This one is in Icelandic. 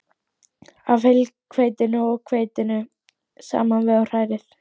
af heilhveitinu og hveitinu saman við og hrærið.